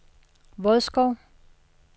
Vodskov